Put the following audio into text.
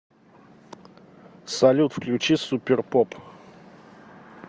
салют включи суперпоп